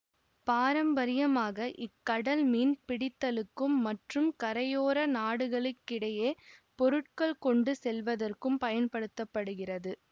பாரம்பரியமாக இக்கடல் மீன் பிடித்தலுக்கும் மற்றும் கரையோர நாடுகளுக்கிடையே பொருட்கள் கொண்டு செல்வதற்கும் பயன்படுத்த படுகிறது